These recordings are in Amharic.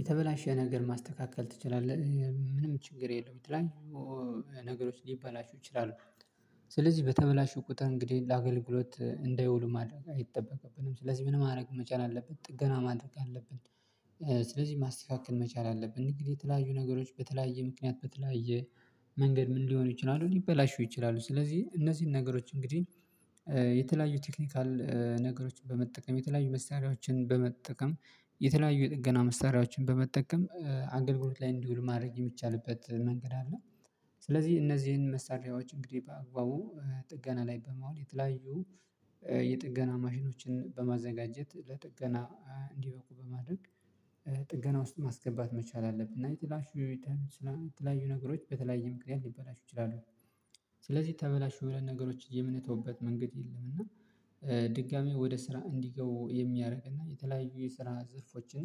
የተበላሸ ነገር ማስተካከል ትችላለህ? ምንም ችግር የለም የተለያዩ ነገሮች ሊበላሹ ይችላሉ ስለዚህ በተበላሹ ቁጥር እንግዲህ ለአገልግሎት እንዳይውሉ ማድረግ አይጠበቅብንም ስለዚህ ምን ማድረግ መቻል አለብን ጥገና ማድረግ አለብን፤ ስለዚህ ማስተካከል መቻል አለብን እንግዲህ የተለያዩ ነገሮች በተለያዩ ምክንያት በተለያየ መንገድ ምን ሊሆን ይችላሉ ሊበላሹ ይችላሉ ስለዚህ እነዚህን ነገሮች እንግዲህ የተለያዩ ቴክኒካል ነገሮችን በመጠቀም የተለያዩ መሳሪያዎችን በመጠቀም የተለያዩ ጥገና መሳሪያዎችን በመጠቀም አገልግሎት ላይ እንዲውል ማድረግ የሚቻልበት መንገድ አለ ስለዚህ እነዚህን መሳሪያዎች በአግባቡ ጥገና ላይ በማዋል የተለያዩ የጥገና ማሽኖችን በማዘጋጀት ለጥገና እንዲያበቁ በማድረግ ጥገና ውስጥ ማስገባት መቻል አለብን እና የተበላሹ የለያዩ ነገሮች በተለያየ ምክንያት ሊበላሹ ይችላሉ ስለዚህ ተበላሹ ብለን ነገሮችን የምንተውበት መንገድ የለም እና ድጋሚ ወደ ስራ እንዲገቡ የሚያደርግ እና የተለያዩ የስራ ዘርፎችን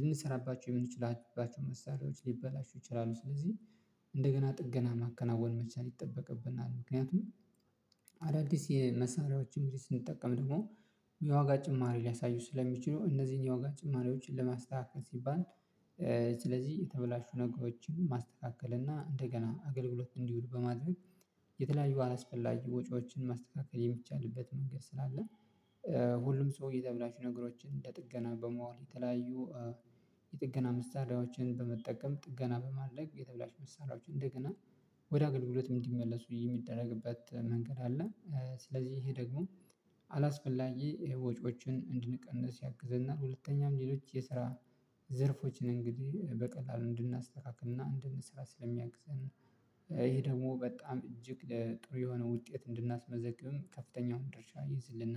ልንሰራባቸው የምንችልባቸው መሳሪያዎች ሊበላሹ ይችላሉ ስለዚህ እንደገና ጥገና ማከናወን መቻል ይጠበቅብናል ምክንያቱም አዳዲስ የመሳሪያዎችን ስንጠቀም ደግሞ የዋጋ ጭማሪ ሊያሳዩ ስለሚችሉ እነዚህን የዋጋ ጭማሪዎችን ለማስተካከል ሲባል ስለዚህ የተበላሹ ነገሮችን ማስተካከል እና እንደገና አገልግሎት እንዲውሉ በማድረግ የተለያዩ አላስፈላጊ ወጪዎችን ማስተካከል የሚቻልበት መንገድ ስላለ ሁሉም ሰውዬ ደብዳቤ ነገሮችን እንደ ጥገና በመዋል የተለያዩ የጥገና ምሳሌዎችን በመጠቀም ጥገና በማለቅ የተበላሽ ምሳሌዎች እንደገና ወደ አገልግሎትም እንዲመለሱ የሚደረግበት መንገድ አለ ስለዚህ ይሄ ደግሞ አላስፈላጊ ይሄ ወጪዎችን እንድንቀንስ ያግዘናል ሁለተኛው ሌሎች የስራ ዘርፎችን እንግዲህ በቀላሉ እንድናስተካክልና እንድንስራ ስለሚያግዘን ይሄ ደግሞ በጣም እጅግ ለጥሩ የሆነ ውጤት እንድናስመዘግብም ከፍተኛውን ድርሻ ይዝልና